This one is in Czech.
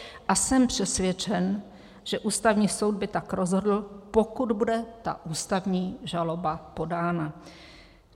A jsem přesvědčen, že Ústavní soud by tak rozhodl, pokud bude ta ústavní žaloba podána."